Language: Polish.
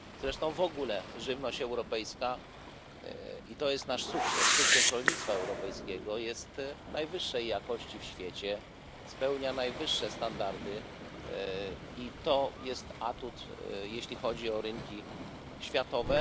Zresztą w ogóle żywność europejska, i to jest nasz sukces, sukces rolnictwa europejskiego, jest najwyższej jakości w świecie, spełnia najwyższe standardy i to jest atut, jeśli chodzi o rynki światowe.